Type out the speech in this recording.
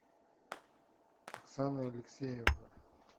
оксана алексеевна